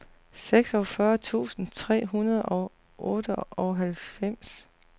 seksogfyrre tusind tre hundrede og otteoghalvfems